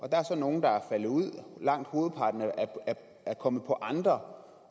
der så nogle der er faldet ud af langt hovedparten er kommet på andre